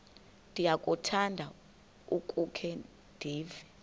ndiyakuthanda ukukhe ndive